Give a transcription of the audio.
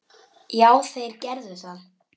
Já, þeir gerðu það.